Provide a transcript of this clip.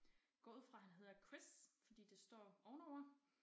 Går ud fra han hedder Chris fordi det står ovenover